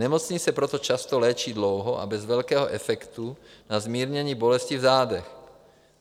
Nemocný se proto často léčí dlouho a bez velkého efektu na zmírnění bolesti v zádech.